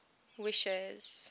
wishes